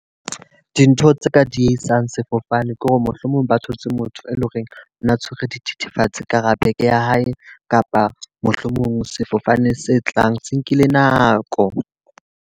Dintho tse ka diehisang sefofane ke hore mohlomong ba thotse motho e leng hore o na tshwere dithethefatsi ka hara bag ya hae. Kapa mohlomong sefofane se tlang se nkile nako.